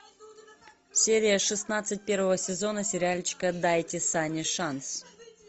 серия шестнадцать первого сезона сериальчика дайте санни шанс